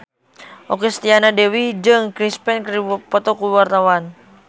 Okky Setiana Dewi jeung Chris Pane keur dipoto ku wartawan